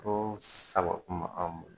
Ko sago kun bɛ anw bolo.